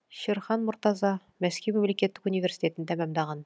шерхан мұртаза мәскеу мемлекеттік университетін тәмамдаған